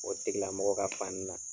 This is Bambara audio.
O tigilamɔgɔ ka fan na